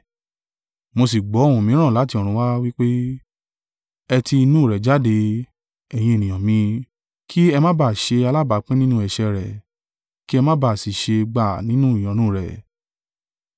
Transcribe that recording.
Mo sì gbọ́ ohùn mìíràn láti ọ̀run wá, wí pé: “ ‘Ẹ ti inú rẹ̀ jáde, ẹ̀yin ènìyàn mi,’ kí ẹ ma bá a ṣe alábápín nínú ẹ̀ṣẹ̀ rẹ̀, kí ẹ ma bà á sì ṣe gbà nínú ìyọnu rẹ̀.